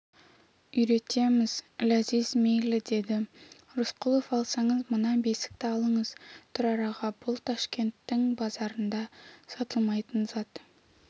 үйретеміз ләзиз мейлі деді рысқұлов алсаңыз мына бесікті алыңыз тұрар аға бұл ташкенттің базарында сатылмайтын зат